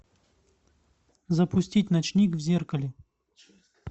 запустить ночник в зеркале